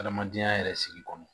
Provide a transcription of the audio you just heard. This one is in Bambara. Adamadenya yɛrɛ sigi kɔnɔ